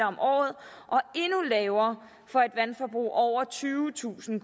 om året og endnu lavere for et vandforbrug over tyvetusind